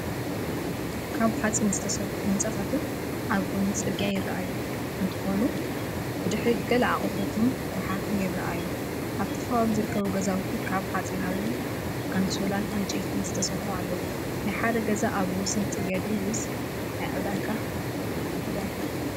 ካብ ሓጺን ዝተሰርሑ ህንጻታትን ኣብ ጎኒ ጽርግያ ይረኣዩ። እንተኾነ ብድሕሪት ገለ ኣቑሑትን ጎሓፍን ይረኣዩ። ኣብቲ ከባቢ ዝርከቡ ገዛውቲ ካብ ሓጺናዊ ኣንሶላን ዕንጨይትን ዝተሰርሑ ኣለው፡፡ ናይ ሓደ ገዛ ኣብ ወሰን ጽርግያ ድዩ ወይስ ናይ ዕዳጋ ዕዳጋ?